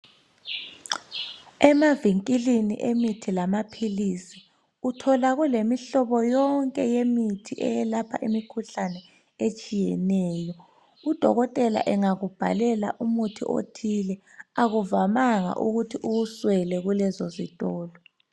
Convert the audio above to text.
Emavinkilini emithi lamaphilisi uthola kulemihlobo yonke yemithi eyelapha imikhuhlane etshiyeneyo. Udokotela engakubhalela umuthi othile akuvamanga ukuthi uwuswele kulezo zitolo.